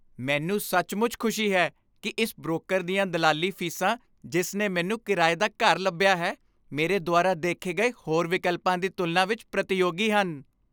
ਮੈਨੂੰ ਸੱਚਮੁੱਚ ਖੁਸ਼ੀ ਹੈ ਕਿ ਇਸ ਬ੍ਰੋਕਰ ਦੀਆਂ ਦਲਾਲੀ ਫੀਸਾਂ ਜਿਸ ਨੇ ਮੈਨੂੰ ਕਿਰਾਏ ਦਾ ਘਰ ਲੱਭਿਆ ਹੈ, ਮੇਰੇ ਦੁਆਰਾ ਦੇਖੇ ਗਏ ਹੋਰ ਵਿਕਲਪਾਂ ਦੀ ਤੁਲਨਾ ਵਿੱਚ ਪ੍ਰਤੀਯੋਗੀ ਹਨ।